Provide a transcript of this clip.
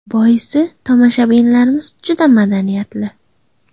Boisi, tomoshabinlarimiz juda madaniyatli.